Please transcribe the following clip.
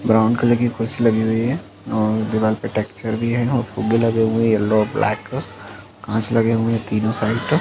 brown colour कि कुर्सी लगी हुई है और दीवाल पर टेक्चर भी है और फुग्गे लगे हुए हैं येलो और ब्लैक कांच लगे हुए हैं तीनों साइड --